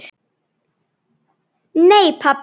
Nei pabbi.